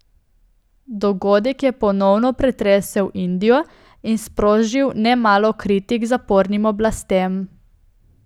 Dogodek je ponovno pretresel Indijo in sprožil nemalo kritik zapornim oblastem.